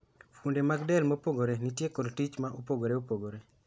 Fuonde mag del mopogore nitie kod tich mopogore opogore.